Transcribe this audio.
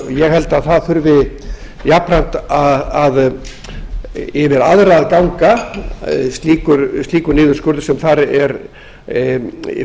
ég held að jafnframt þurfi yfir aðra að ganga slíkur niðurskurður sem þar er